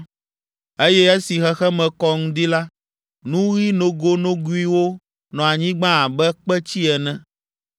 eye esi xexeme kɔ ŋdi la, nu ɣi nogonogoewo nɔ anyigba abe kpetsi ene.